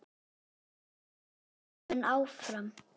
Verða leikmenn áfram?